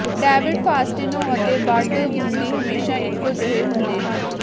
David Faustino ਅਤੇ Bud Bundy ਹਮੇਸ਼ਾ ਇਕੋ ਜਿਹੇ ਹੁੰਦੇ ਹਨ